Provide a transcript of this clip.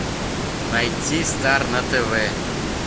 найти стар на тв